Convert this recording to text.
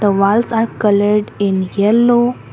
a walls are coloured in yellow.